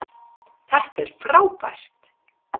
Þetta er frábært